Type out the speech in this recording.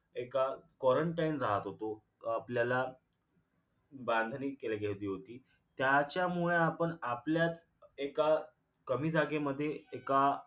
एकदा quarantine राहत होतो आपल्याला बांधलिक केली घ्याची होती त्याच्यामुळे आपण आपल्यात एका कमी जागेमध्ये एका